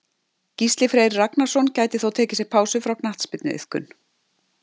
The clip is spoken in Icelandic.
Gísli Freyr Ragnarsson gæti þó tekið sér pásu frá knattspyrnuiðkun.